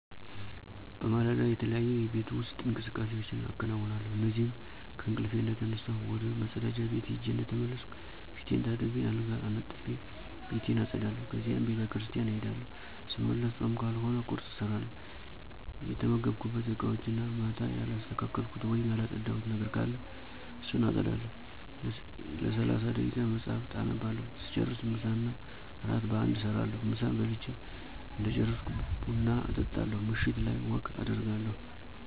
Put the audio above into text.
በማለዳ, የተለያዩ የቤት ውስጥ እንቅስቃሴዎች አከነውነለሁ እነዚህም :-ከእንቅልፊ እንደተነሳሁ ወደ መፀዳጃ ቤት ሄጀ እንደተመለስኩ ፊቴን ታጥቤ አልጋ አንጥፊ፣ ቤቴን አፀዳለሁ ከዚያም ቤተክርሰቲያን እሄዳለሁ ሰመለሰ ፆም ካልሆነ ቁርሰ እሰራለሁ፣ የተመገብኩበት እቃወችን እና ማታ ያላሰተካከልኩት ወይም ያለፀዳሁት ነገር ካለ እሱን አፀዳለሁ፣ ለሰላሳ ደይቃ መፀሐፍ አነባለሁ ሰጨርሰ ምሳ እና እራት በአንድ እሰራለሁ፣ ምሳ በልች እደጨረሰኩ ብና እጣለሁ ምሸት ላይ ወክ አደርጋለሁ።